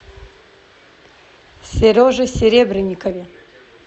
сереже серебренникове